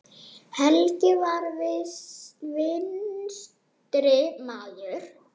Helgi var vinstri maður.